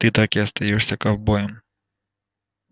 ты так и остаёшься ковбоем